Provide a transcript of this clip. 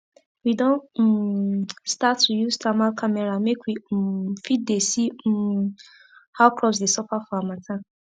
we don um start to use thermal camera make we um fit dey see um how crops dey suffer for harmattan